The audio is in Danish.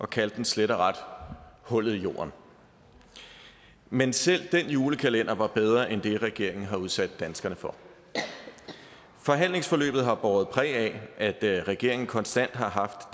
kaldte den slet og ret for hullet i jorden men selv den julekalender var bedre end det regeringen har udsat danskerne for forhandlingsforløbet har båret præg af at regeringen konstant har haft